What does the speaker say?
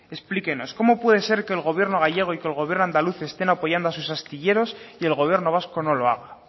explíquenos cómo puede ser que el gobierno gallego y que el gobierno andaluz estén apoyando a sus astilleros y el gobierno vasco no lo haga